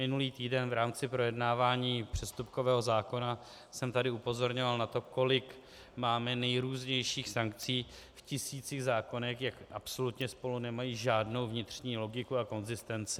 Minulý týden v rámci projednávání přestupkového zákona jsem tady upozorňoval na to, kolik máme nejrůznějších sankcí v tisících zákonech, jak absolutně spolu nemají žádnou vnitřní logiku a konzistenci.